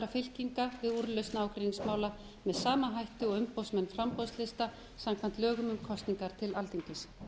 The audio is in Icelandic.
fylkinga við úrlausn ágreiningsmála með sama hætti og umboðsmenn framboðslista samkvæmt lögum um kosningar til alþingis